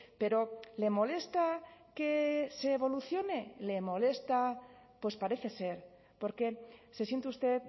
pero le molesta que se evolucione le molesta pues parece ser porque se siente usted